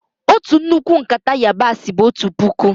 Ọtu nnukwu nkata yabasi bụ ọtu pụkụ.